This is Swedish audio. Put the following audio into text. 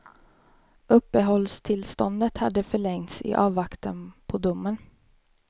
Uppehållstillståndet hade förlängts i avvaktan på domen.